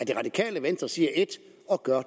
det radikale venstre siger ét og gør